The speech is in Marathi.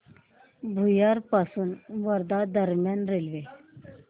भुयार पासून वर्धा दरम्यान रेल्वे